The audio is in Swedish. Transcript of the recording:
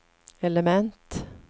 element